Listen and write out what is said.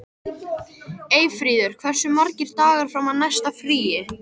Eyfríður, hversu margir dagar fram að næsta fríi?